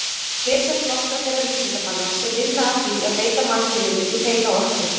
Hér sjást nokkrir þeirra vísindamanna sem vinna að því að breyta mannkyninu í hreina orku.